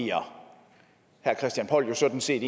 herre christian poll sådan set